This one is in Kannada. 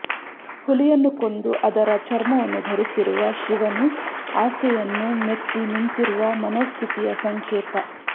ಹುಲಿಯನ್ನು ಕೊಂದು ಅದರ ಚರ್ಮವನ್ನು ಧರಿಸಿರುವ ಶಿವನು ಆಸೆಯನ್ನು ಮೆಟ್ಟಿ ನಿಂತಿರುವ ಮನೋಸ್ಥಿತಿಯ ಸಂಕೇತ